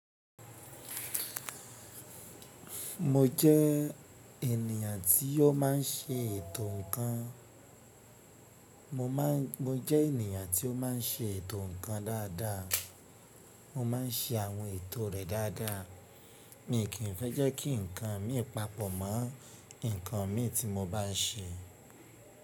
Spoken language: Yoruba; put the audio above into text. Mo jẹ́ ènìyàn tí ó má n ṣe ètò ǹkan, mo jẹ́ ènìyàn tí ó má n ṣe ètò ǹkan dáadáa. Mo ma n ṣe àwọn ètò rẹ̀ dáadáa. Mi kì í fẹ́ jẹ́ kí ǹkan mi papọ̀ mọ́ ǹkan mi tí mo bá n ṣe.